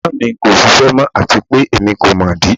Ina mi ko ṣiṣẹ mọ ati pe emi ko mọ idi